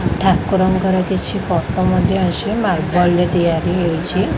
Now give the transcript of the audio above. ଠାକୁରଙ୍କର କିଛି ଫୋଟୋ ମଧ୍ୟ ଅଛି ମାର୍ବଲ ରେ ତିଆରି ହେଇଛି।